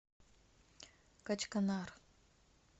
качканар